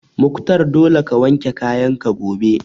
Mukhtar dole ka wanke kayan ka gobe!